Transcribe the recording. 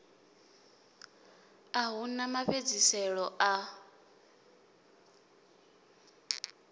a hu na mafhedziselo a